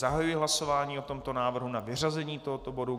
Zahajuji hlasování o tomto návrhu na vyřazení tohoto bodu.